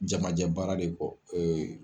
Jamajɛ baara de kɔ